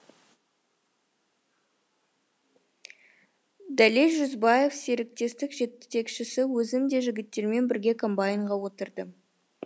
дәлел жүзбаев серіктестік жетекшісі өзім де жігіттермен бірге комбайнға отырдым